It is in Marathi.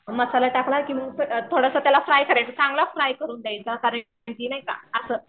मसाला टाकला की मग थोडासा त्याला फ्राय करायचं चांगला फ्राय करून द्यायचा कारण की नाही का असं